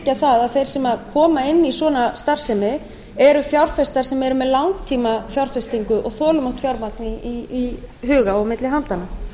auðvitað að þeir sem koma inn í svona starfsemi eru fjárfestar sem eru með langtímafjárfestingu og þolinmótt fjármagn í huga og milli handanna